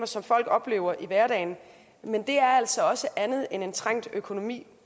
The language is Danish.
som folk oplever i hverdagen men det er altså også andet end en trængt økonomi